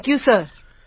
thank you sir